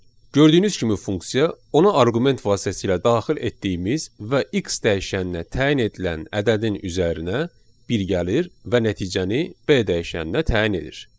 Gördüyünüz kimi funksiya ona arqument vasitəsilə daxil etdiyimiz və x dəyişəninə təyin edilən ədədin üzərinə bir gəlir və nəticəni B dəyişəninə təyin edir.